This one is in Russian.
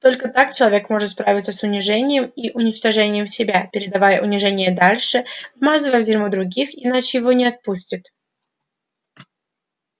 только так человек может справиться с унижением и уничтожением себя передавая унижение дальше вмазывая в дерьмо других иначе его не отпустит